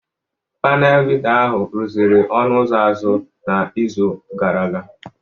Panel bita ahụ rụziri ọnụ ụzọ azụ n'izu gara aga